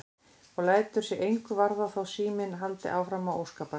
Og lætur sig engu varða þótt síminn haldi áfram að óskapast.